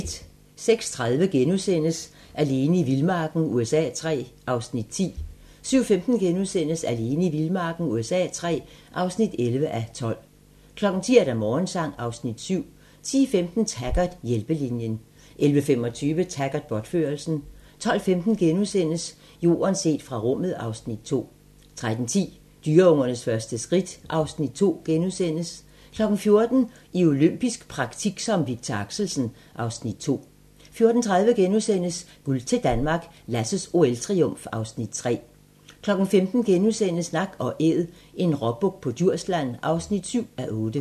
06:30: Alene i vildmarken USA III (10:12)* 07:15: Alene i vildmarken USA III (11:12)* 10:00: Morgensang (Afs. 7) 10:15: Taggart: Hjælpelinjen 11:25: Taggart: Bortførelsen 12:15: Jorden set fra rummet (Afs. 2)* 13:10: Dyreungernes første skridt (Afs. 2)* 14:00: I olympisk praktik som Victor Axelsen (Afs. 2) 14:30: Guld til Danmark - Lasses OL-triumf (Afs. 3)* 15:00: Nak & Æd - en råbuk på Djursland (7:8)*